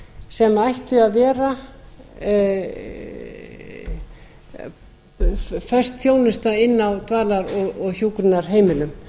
sem ætti að vera föst þjónusta inni á dvalar og hjúkrunarheimilum